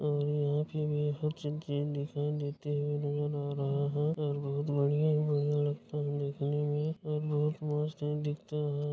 और बहत बढ़िया मुझे लगता है देखने में और बोहोत मस्त ही दिखता है।